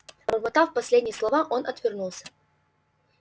пробормотав последние слова он отвернулся